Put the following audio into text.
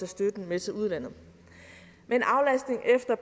støtten med til udlandet men aflastning efter